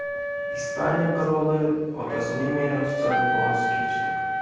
Ispaniya qiroli otasining merosidan voz kechdi.